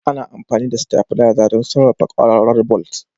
Ana amfani da stavilizer don sarrafa kwararar bolt.